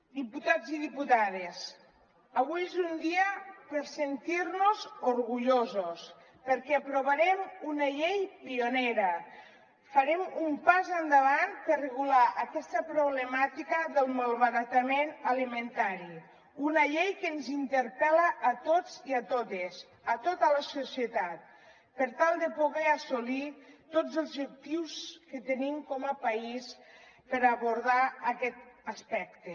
diputats i diputades avui és un dia per sentir nos orgullosos perquè aprovarem una llei pionera farem un pas endavant per regular aquesta problemàtica del malbaratament alimentari una llei que ens interpel·la a tots i a totes a tota la societat per tal de poder assolir tots els objectius que tenim com a país per abordar aquest aspecte